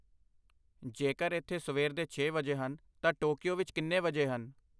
ਜੇੇਕਰ ਇੱਥੇ ਸਵੇਰ ਦੇ ਛੇ ਵਜੇ ਹਨ ਤਾਂ ਟੋਕੀਓ ਵਿੱਚ ਕਿੰਨੇ ਵਜੇ ਹਨ?